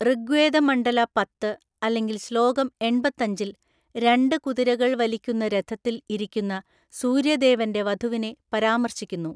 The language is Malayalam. ഋഗ്വേദ മണ്ഡല പത്ത് അല്ലെങ്കിൽ ശ്ലോകം എണ്‍പത്തഞ്ചില്‍, രണ്ട് കുതിരകൾ വലിക്കുന്ന രഥത്തിൽ ഇരിക്കുന്ന സൂര്യദേവന്റെ വധുവിനെ പരാമർശിക്കുന്നു.